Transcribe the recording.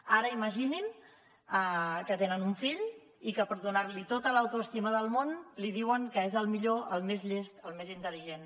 ara imaginin que tenen un fill i que per donar li tota l’autoestima del món li diuen que és el millor el més llest el més intel·ligent